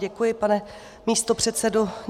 Děkuji, pane místopředsedo.